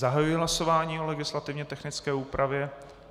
Zahajuji hlasování o legislativně technické úpravě.